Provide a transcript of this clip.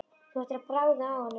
Þú ættir að bragða á honum